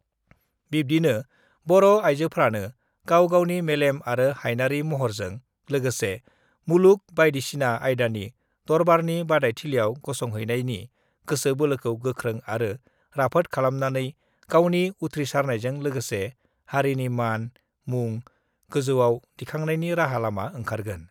बिब्दिनो बर' आइजोफ्रानो गाव गावनि मेलेम आरो हाइनारी महरजो लोगोसे मुलुग बायदिसिना आयदानि दरबारनि बादायथिलियाव गसंहैनायनि गोसो बोलोखौ गोख्रों आरो राफोद खालामनानै गावनि उथ्रिसारनायजों लोगोसे हारिनि मान, मुं गोजौयाव दिखांनायनि राहा-लामा ओंखारगोन।